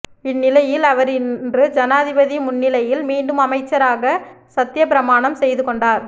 இந் நிலையில் அவர் இன்று ஜனாதிபதி முன்னிலையில் மீண்டும் அமைச்சராக சத்தியப்பிரமாணம் செய்து கொண்டார்